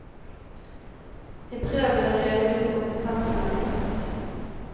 I brevet blir det redegjort for konsekvensene av kuttet.